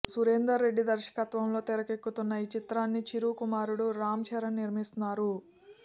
సురేందర్ రెడ్డి దర్శకత్వంలో తెరకెక్కుతున్న ఈ చిత్రాన్ని చిరు కుమారుడు రామ్ చరణ్ నిర్మిస్తున్నారు